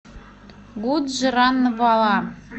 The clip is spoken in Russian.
гуджранвала